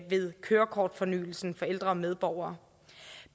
ved kørekortfornyelsen for ældre medborgere